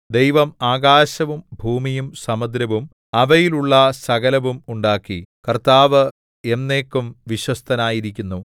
ദൈവം ആകാശവും ഭൂമിയും സമുദ്രവും അവയിലുള്ള സകലവും ഉണ്ടാക്കി കർത്താവ് എന്നേക്കും വിശ്വസ്തനായിരിക്കുന്നു